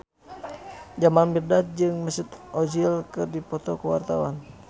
Jamal Mirdad jeung Mesut Ozil keur dipoto ku wartawan